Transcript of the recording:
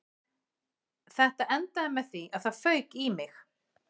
Þetta endaði með því að það fauk í mig